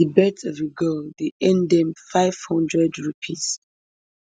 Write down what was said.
di birth of a girl dey earn dem five hundred rupees